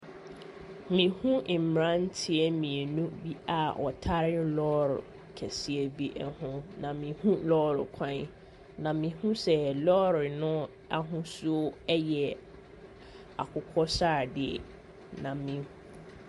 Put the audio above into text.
Me hu mmeranteɛ mmienu bi a wɔtare lɔɔre kɛseɛ bi ɛho na me hu lɔɔre kwan na me hu sɛ lɔɔre no ahusuo ɛyɛ akokɔ sradeɛ na me.